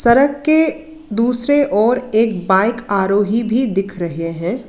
सड़क के दूसरी ओर एक बाइक आरोही भी दिख रहे है।